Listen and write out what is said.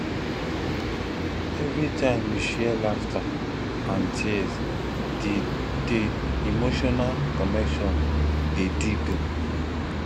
every time we share laughter and tears di di emotional connection dey deepen